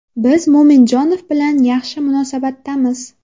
Biz Mo‘minjonov bilan yaxshi munosabatdamiz.